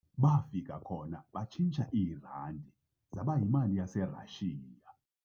Bafika khona batshintsha iirandi zaba yimali yaseRashiya.